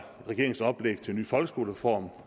regeringens oplæg til en ny folkeskolereform